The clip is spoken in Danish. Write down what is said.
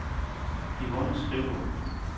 Yvonne Skriver